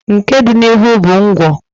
nke dị n'ihu bụ ngwọ.